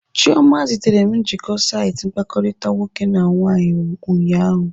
Chioma zitere m njikọ saịtị mkpakọrịta nwoke na nwaanyị ụnyaahụ.